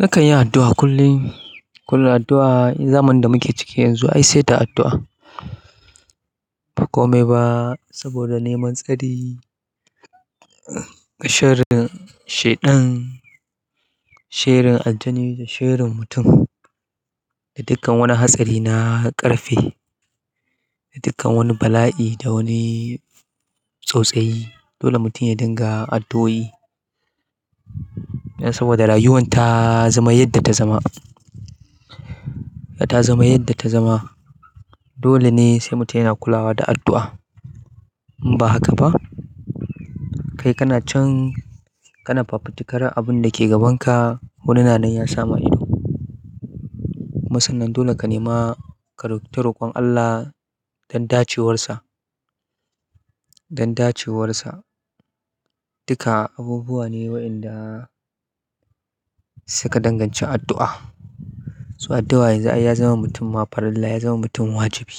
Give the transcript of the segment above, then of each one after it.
Nakan yi addu'a kullum, kullum addu'a in zamanin da muke ciki yanzu i sai da addu'a. Ba kome ba saboda neman tsari, sharin shaiɗan, sharin ajani da sharin mutum. Da dukkan wani hatsari na ƙarfe, da dukkan wani bala'i, da wani tausayi, dole mutum ya dinga addu'o'i saboda rayuwan ta zama yadda ta zama. Ta zama yadda ta zama. Dole ne sai mutum yana kulawa da addu'a. In ba haka ba kai kana can, kana fafutukar abunda ke gaban ka. Wani na nan ya sama ido. Kuma sannan dole ka nema ka ro ta roƙon Allah don dacewarsa, don dacewarsa. Duka abubuwa ne waɗanda suka danganci addu'a. So addu'a yanzu i ya zama mutum ma parilla, ya zama mutum wajibi.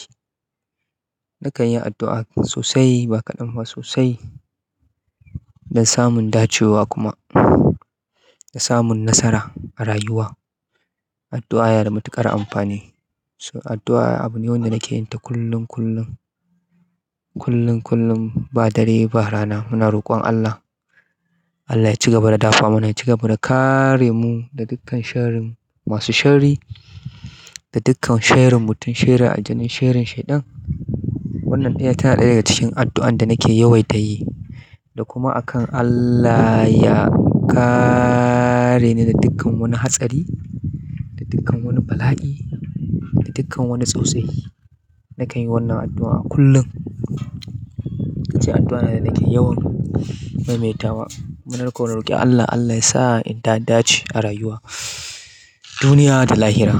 Nakan yi addu'a sosai ba kaɗan ba sosai don samun dacewa kuma, da samun nasara a rayuwa. Addu'a yana da matuƙar amfani. So addu'a abu ne wanda nake yin ta kullum, kullum. Kullum, kullum ba dare ba rana muna roƙon Allah. Allah ya ci gaba da dafa mana, ya ci gaba da kare mu da dukkan sharin masu shari, da dukkan sharin mutum, sharin aljani, sharin shaiɗan. Wannan ɗaya tana ɗaya daga cikin addu'an da nake yawaita yi. Da kuma a kan Allah ya kare ni da dukkan wani hatsari, da dukkan wani bala'i, da dukkan wani tausayi. Nakan yi wannan addu'a kullum. Addu'a ne da nake yawan maimaita wa. Munar ko roƙi Allah, Allah yasa in da dace a rayuwa, duniya da lahira.